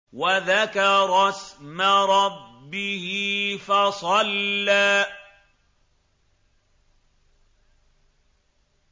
وَذَكَرَ اسْمَ رَبِّهِ فَصَلَّىٰ